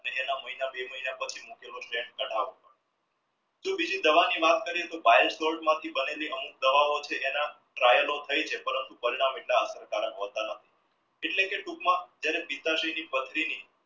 એના મહિના બે મહિના પછી જો બીજી દવાની વાત કરીએ તો બંનેની દવાઓ છે trial થઈ છે પરંતુ હોતા નથી એટલે કે ટૂંક માં જ્યારે પથરી